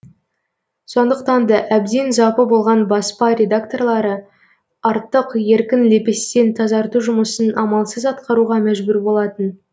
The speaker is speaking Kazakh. сондықтан да әбден запы болған баспа редакторлары артық еркін лепестен тазарту жұмысын амалсыз атқаруға мәжбүр болатын